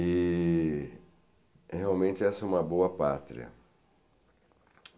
E realmente essa é uma boa pátria.